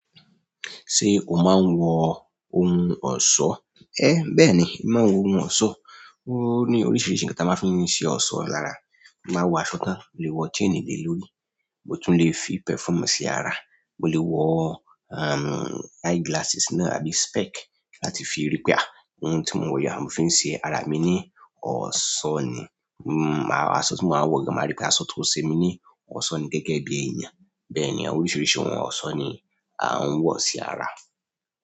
Ṣé o máa ń wọ ohun ọ̀ṣọ́? Ẹ, bẹ́ẹ̀ ni, màá ń wọ ohun ọ̀ṣọ́. Ó ní oríṣiríṣi nǹkan tí a máa ń fi ṣe ọ̀ṣọ́ lára. Ma wọ aṣọ tán, o lè wọ chain le lórí, mo tún lè fi perfume sí ara, mo lè wọ, um, eyeglasses náà àbí spec láti fi rí pé à, ohun tí mo wọ̀ yẹn, mò ń fi ṣe ara mi ní ọ̀ṣọ́ ni. Aṣọ tí mo máa ń wọ̀ yẹn máa rí pé aṣọ tó ṣe mi ní ọ̀ṣọ́ ni gẹ́gẹ́ bí ẹyin ni. Bẹ́ẹ̀ ni, àwọn oríṣiríṣi ohun ọ̀ṣọ́ ni a ń wọ̀ sí ara.